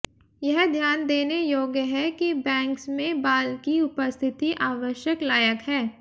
यह ध्यान देने योग्य है कि बैंग्स में बाल की उपस्थिति आवश्यक लायक है